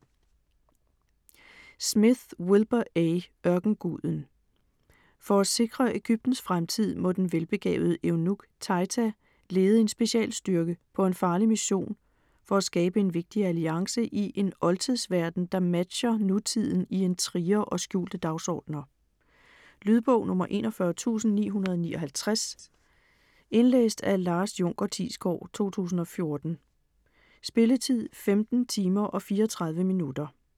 Smith, Wilbur A.: Ørkenguden For at sikre Egyptens fremtid, må den velbegavede eunuk Taita lede en specialstyrke på en farlig mission for at skabe en vigtig alliance i en oldtidsverden, der matcher nutiden i intriger og skjulte dagsordener. Lydbog 41959 Indlæst af Lars Junker Thiesgaard, 2014. Spilletid: 15 timer, 34 minutter.